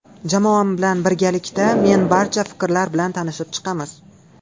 Jamoam bilan birgalikda men barcha fikrlar bilan tanishib chiqamiz.